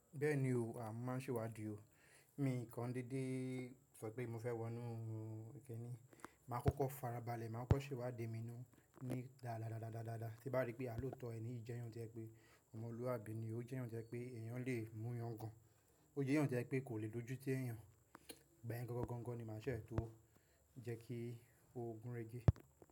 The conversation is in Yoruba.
Bẹ́ẹ̀ni o, mo máà ń ṣèwádi o, mi kan déédé sọ pé mo fẹ́ wọnú ẹni, màá kókó farabalẹ̀, màá kọ́ ṣèwá di mi nù ní dáradára, tí bá rí pé a ló tọ ẹni, ó jẹ́ ohun tí ẹ pé ọmọlúwàbí ni, ó jẹ́ èèyàn tí ẹ pé èèyàn lè mú yan gan, ó jẹ́ ohun tí ẹ pé kò lè dojútì ẹ́ yan. Ṣẹ̀ tó o jẹ́ kí o gúnrégé.